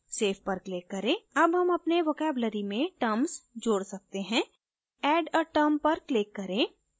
save पर click करें add term अपने vocabulary में terms जोड सकते हैं add a term पर click करें